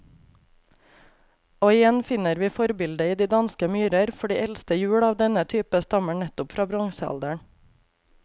Og igjen finner vi forbildet i de danske myrer, for de eldste hjul av denne type stammer nettopp fra bronsealderen.